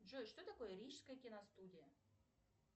джой что такое рижская киностудия